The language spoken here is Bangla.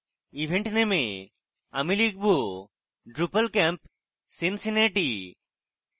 event name এ আমি লিখব: drupalcamp cincinnati